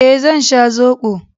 Eh, zan sha zobo.